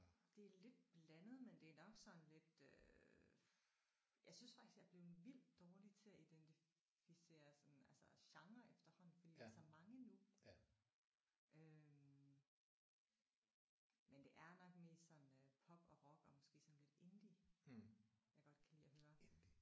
Det er lidt blandet men det er nok sådan lidt øh jeg synes faktisk jeg er blevet vildt dårlig til at identificere sådan altså genrer efterhånden fordi der er så mange nu øh men det er nok mest sådan øh pop og rock og måske sådan lidt indie jeg godt kan lide at høre